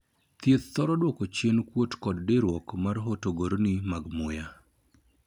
Thieth thoro duoko chien kuot kod diiruok mag horogorni mag muya